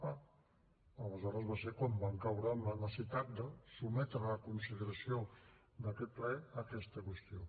ah aleshores va ser quan vam caure en la necessitat de sotmetre a la consideració d’aquest ple aquesta qüestió